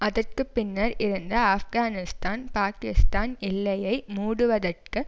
அதற்கு பின்னர் இருந்து ஆப்கனிஸ்தான் பாகிஸ்தான் எல்லையை மூடுவதற்கு